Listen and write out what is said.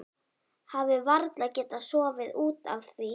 Hafi varla getað sofið út af því.